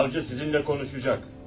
Savcı sizinlə danışacaq.